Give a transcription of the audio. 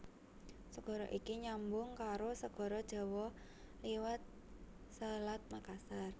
Segara iki nyambung karo Segara Jawa liwat Selat Makassar